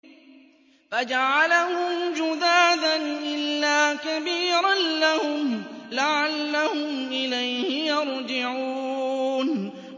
فَجَعَلَهُمْ جُذَاذًا إِلَّا كَبِيرًا لَّهُمْ لَعَلَّهُمْ إِلَيْهِ يَرْجِعُونَ